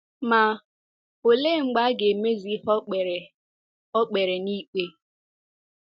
Ma, olee mgbe a ga-emezu ihe o kpere o kpere n'ikpe?